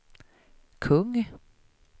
kung